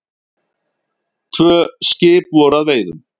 Tvö skip voru að veiðum.